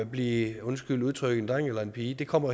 blive undskyld udtrykket en dreng eller en pige det kommer